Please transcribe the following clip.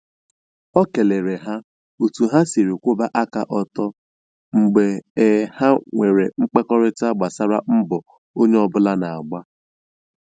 O kelere ha otu ha siri kwụba aka ọtọ mgbe um ha nwere mkparịtaụka gbasara mbọ um onye ọbụla na - agba